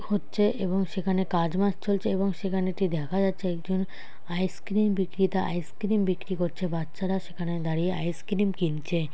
হচ্ছে এবং সেখানে কাজ মাজ চলছে এবং সেখানে এটি দেখা যাচ্ছে একজন আইসক্রিম বিক্রেতা আইসক্রিম বিক্রি করছে করছে বাচ্চারা সেখানে দাঁড়িয়ে আইসক্রিম কিনছে।